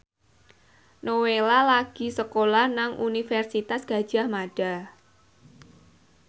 Nowela lagi sekolah nang Universitas Gadjah Mada